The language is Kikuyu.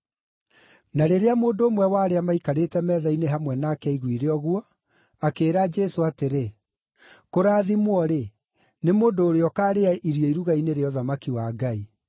Na rĩrĩa mũndũ ũmwe wa arĩa maikarĩte metha-inĩ hamwe nake aiguire ũguo, akĩĩra Jesũ atĩrĩ, “Kũrathimwo-rĩ, nĩ mũndũ ũrĩa ũkaarĩa irio iruga-inĩ rĩa ũthamaki wa Ngai.”